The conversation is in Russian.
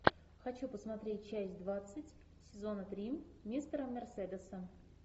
хочу посмотреть часть двадцать сезона три мистера мерседеса